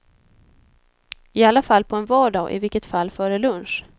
I alla fall på en vardag och i vilket fall före lunch.